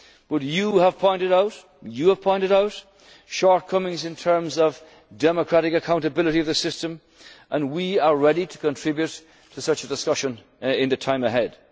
govern our economies. But you have pointed out shortcomings in terms of democratic accountability of the system and we are ready to contribute to such a discussion